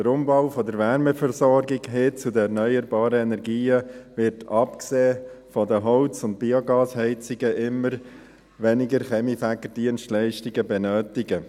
Der Umbau der Wärmeversorgung hin zu den erneuerbaren Energien wird abgesehen von den Holz- und Biogasheizungen immer weniger Kaminfegerdienstleistungen benötigen.